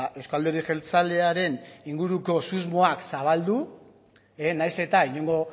euzko alderdi jeltzalearen inguruko susmoak zabaldu nahiz eta inongo